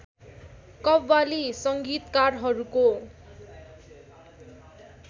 qawwali संगीतकारहरूको